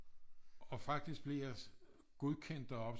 Og faktisk blev jeg godkendt deroppe